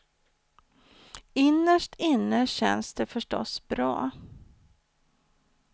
Innerst inne känns det förstås bra.